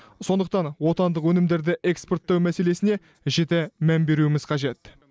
сондықтан отандық өнімдерді экспорттау мәселесіне жіті мән беруіміз қажет